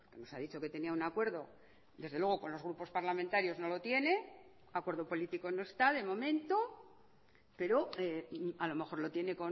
nos ha dicho que tenía un acuerdo desde luego con los grupos parlamentarios no lo tiene acuerdo político no está de momento pero a lo mejor lo tiene